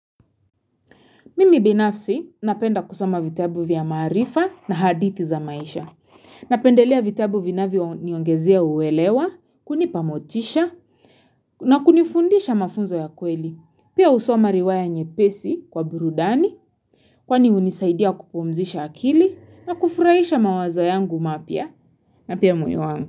Mimi binafsi napenda kusoma vitabu vya maarifa na hadithi za maisha. Napendelea vitabu vinavyo niongezea uwelewa, kunipa motisha, na kunifundisha mafunzo ya kweli. Pia husoma riwaya nyepesi kwa burudani, kwani hunisaidia kupumzisha akili, na kufurahisha mawaza yangu mapia, na pia moyo wangu.